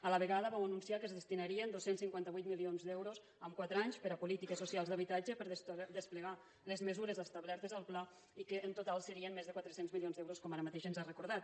a la vegada vau anunciar que es destinarien dos cents i cinquanta vuit milions d’euros en quatre anys a polítiques socials d’habitatge per desplegar les mesures establertes al pla i que en total serien més de quatre cents milions d’euros com ara mateix ens ha recordat